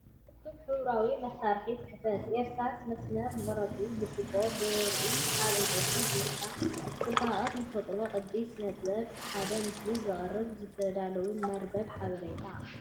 እኩብ ሕብራዊ መሳርሒታት ጽሕፈት፡ እርሳስ፡ መስመር፡ መቑረጺን ብርጭቆ ብርዕን ኣብ ዕንጨይቲ ቦርሳ። ጽባቐ ተፈጥሮን ቅዲ ስነ-ጥበብን ብሓደ ምስሊ ዘቕርብ ዝተዳለወ መርበብ ሓበሬታ።